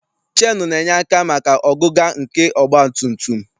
CHeenụ na-enye aka maka ọgụga nke ọgbatumtum.